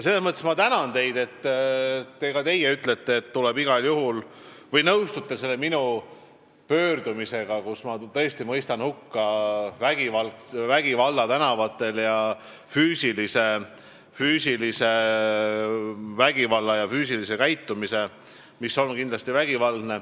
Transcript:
Selles mõttes ma tänan teid, et ka teie nõustute selle minu pöördumisega, kus ma tõesti mõistan hukka füüsiliselt vägivaldse käitumise tänavatel.